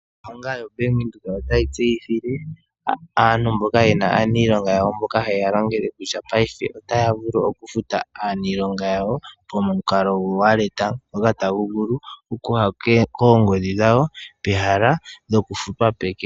Ombanga yaVenduka otayi tseyithile aantu mboka yena aanilonga yawo mboka hayeya longele kutya paife otaya vulu okufuta aanilonga yawo pomukalo gowalet ngoka tagu vulu okuya koongodhi dhawo pehala lyokufutwa peke.